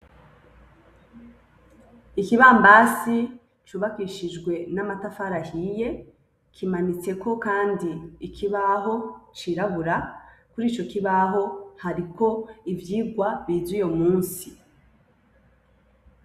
ikibambasi cubakishijwe n'amatafari ahiye, kimanitsweko kandi ikibaho cirabura kurico kibaho hariko ivyirwa bize uyo musi.